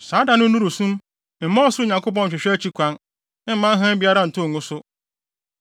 Saa da no nnuru sum; mma Ɔsoro Nyankopɔn nhwehwɛ akyi kwan; mma hann biara ntɔ ngu so.